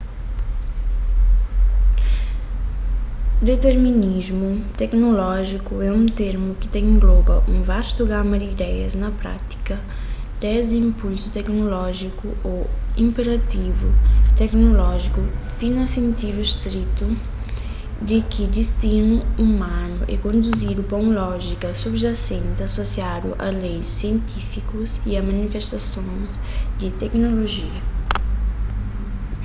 diterminismu teknolójiku é un termu ki ta engloba un vastu gama di ideias na prátika desdi inpulsu teknolójiku ô inperativu teknolójiku ti na sentidu stritu di ki distinu umanu é konduzidu pa un lójika subjasenti asosiadu a leis sientifikus y a manifestason di teknolojia